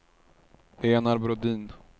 Enar Brodin